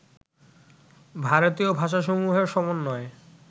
ভারতীয় ভাষাসমূহের সমন্বয়ে